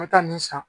N bɛ taa nin san